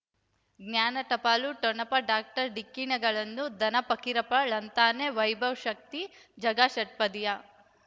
ಜ್ಞಾನ ಟಪಾಲು ಠೊಣಪ ಡಾಕ್ಟರ್ ಢಿಕ್ಕಿ ಣಗಳನು ಧನ ಪಕೀರಪ್ಪ ಳಂತಾನೆ ವೈಭವ್ ಶಕ್ತಿ ಝಗಾ ಷಟ್ಪದಿಯ